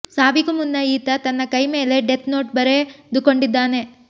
ಸಾವಿಗೂ ಮುನ್ನ ಈತ ತನ್ನ ಕೈ ಮೇಲೆ ಡೇತ್ ನೋಟ್ ಬರೆದುಕೊಂಡಿದ್ದಾನೆ